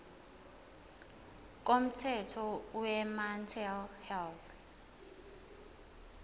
komthetho wemental health